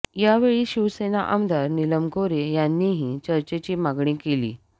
यावेळी शिवसेना आमदार नीलम गोऱ्हे यांनीही चर्चेची मागणी केली